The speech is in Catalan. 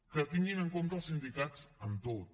que tinguin en compte els sindicats en tot